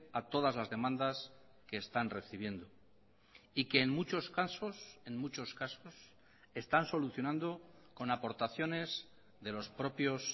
a todas las demandas que están recibiendo y que en muchos casos en muchos casos están solucionando con aportaciones de los propios